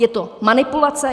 Je to manipulace.